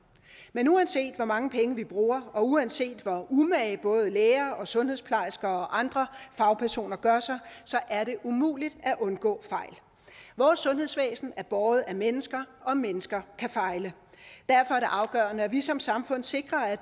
men uanset hvor mange penge vi bruger og uanset hvor umage både læger og sundhedsplejersker og andre fagpersoner gør sig er det umuligt at undgå fejl vores sundhedsvæsen er båret af mennesker og mennesker kan fejle derfor er det afgørende at vi som samfund sikrer at